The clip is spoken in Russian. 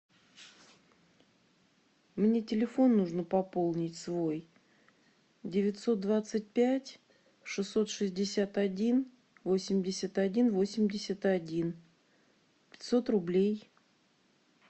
мне телефон нужно пополнить свой девятьсот двадцать пять шестьсот шестьдесят один восемьдесят один восемьдесят один пятьсот рублей